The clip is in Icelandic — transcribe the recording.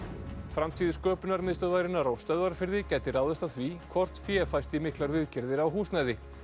framtíð Sköpunarmiðstöðvarinnar á Stöðvarfirði gæti ráðist af því hvort fé fæst í miklar viðgerðir á húsnæði